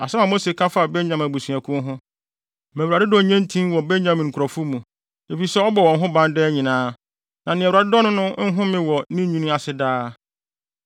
Asɛm a Mose ka faa Benyamin abusuakuw ho: “Ma Awurade dɔ nnye ntin wɔ Benyamin nkurɔfo mu, efisɛ ɔbɔ wɔn ho ban daa nyinaa, na nea Awurade dɔ no no nhome wɔ ne nwini ase daa.”